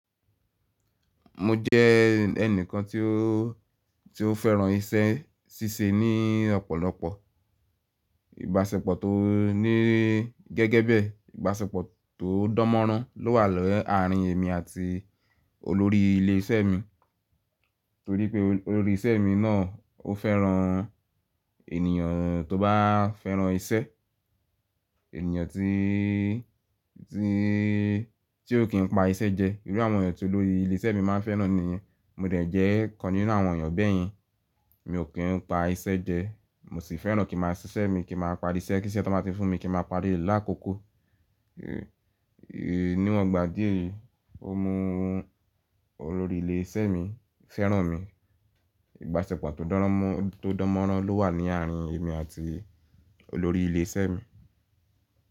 Mo jẹ́ ẹnìkan tí ó, tí ó fẹ́ràn iṣẹ́ ṣíṣe ní ọ̀pọ̀lọpọ̀. Ìbáṣepọ̀ tó ní gẹ́gẹ́ bẹ, ìbáṣepọ̀ tó dánmọ́nrán ló wà làárín èmi àti olórí ilé iṣẹ́ mi. Torí pé olórí isẹ́ mi náà ó fẹ́ràn ènìyàn tó bá fẹ́ràn iṣẹ́, ènìyàn tíí, tí, tí ó kì ń pa iṣẹ́ jẹ. Irú àwọn ènìyàn tí olórí ilé iṣẹ́ mi máa ń fẹ́ràn nìyẹn, mo dẹ̀ jẹ́ kan nínú àwọn ènìyàn bẹ́yẹn. Mi ò kí ń pa iṣẹ́ jẹ, mo sì fẹ́ràn kí màá ṣiṣẹ́ mi, kí màá parí iṣẹ́ kí iṣẹ́ tó bá ti fún mi kí màá parí rẹ́ lákòókò. Níwọ̀n gbà dí èyí, ó mú olórí ilé iṣẹ́ mi fẹ́ràn mi. Ìbáṣepọ̀ tó dánmọ́rán ló wà ní àárín èmi àti olórí ilé iṣẹ́ mi.